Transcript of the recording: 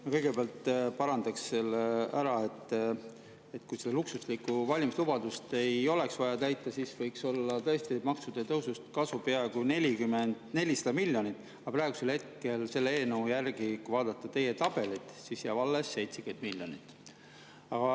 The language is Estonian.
Ma kõigepealt parandaksin selle ära: kui teil seda luksuslikku valimislubadust ei oleks vaja täita, siis võiks olla tõesti maksude tõusust kasu peaaegu 400 miljonit, aga praegusel hetkel selle eelnõu järgi, kui vaadata teie tabelit, jääb alles 70 miljonit.